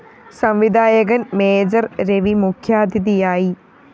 സംവിധായകന്‍ മേജർ രവി മുഖ്യാതിഥിയായി